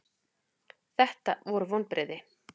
Þetta voru vonbrigði.